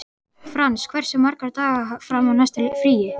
Frans, hversu margir dagar fram að næsta fríi?